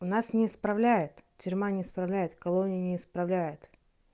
у нас не исправляет тюрьма не исправляет колония не исправляет